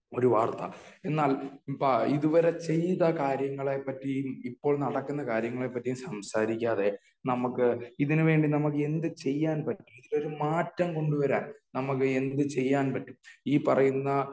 ഒരുവാർത്ത എന്നാൽ ഇത് വരെ ചെയ്ത കാര്യങ്ങളെ പറ്റിയും ഇപ്പോൾ നടക്കുന്ന കാര്യങ്ങളെ പറ്റിയും സംസാരിക്കാതെ നമ്മക്ക് ഇതിന് വേണ്ടി എന്തു ചെയ്യാൻ പറ്റും ഒരു മാറ്റം കൊണ്ടുവരാൻ നമ്മക്ക് എന്ത് ചെയ്യാൻ പറ്റും. ഈ പറയുന്ന